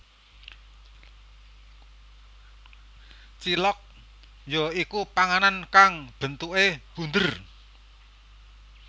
Cilok ya iku panganan kang bentuke bunder